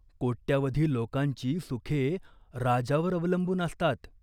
कोट्यावधी लोकांची सुखे राजावर अवलंबून असतात.